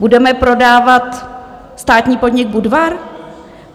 Budeme prodávat státní podnik Budvar?